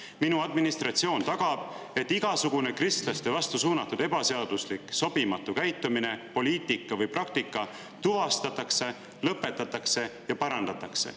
Minu administratsioon tagab, et igasugune kristlaste vastu suunatud ebaseaduslik, sobimatu käitumine, poliitika või praktika tuvastatakse, lõpetatakse ja parandatakse.